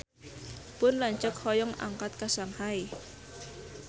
Pun lanceuk hoyong angkat ka Shanghai